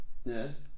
Ja